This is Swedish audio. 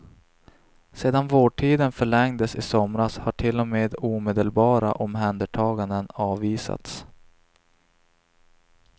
Sedan vårdtiden förlängdes i somras har till och med omedelbara omhändertaganden avvisats.